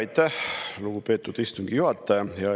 Aitäh, lugupeetud istungi juhataja!